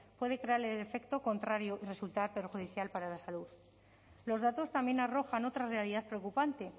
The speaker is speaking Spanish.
puede crear el efecto contrario y resultar perjudicial para la salud los datos también arrojan otra realidad preocupante